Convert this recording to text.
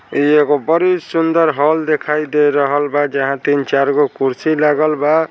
ई एगो बड़ी सुंदर हॉल दिखाई दे रहल बा जहां तीन चार गो कुर्सी लागल बा ।